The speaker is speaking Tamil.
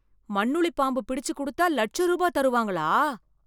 மண்ணுள்ளிப் பாம்பு பிடிச்சு கொடுத்தா லட்ச ரூபா தருவாங்களா?